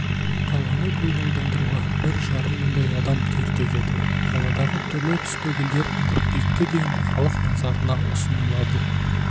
қаланы көгалдандыруға бір жарым мыңдай адам тер төгеді қаладағы түрлі-түсті гүлдер қыркүйекке дейін халық назарына ұсынылады